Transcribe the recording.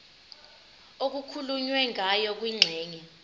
okukhulunywe ngayo kwingxenye